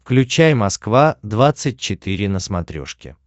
включай москва двадцать четыре на смотрешке